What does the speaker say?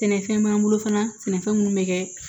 Sɛnɛfɛn b'an bolo fanafɛn minnu bɛ kɛ